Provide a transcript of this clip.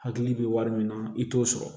Hakili bɛ wari min na i t'o sɔrɔ